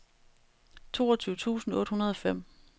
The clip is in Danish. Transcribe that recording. toogtyve tusind otte hundrede og fem